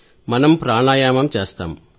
మనం ప్రాణాయామం చేస్తాం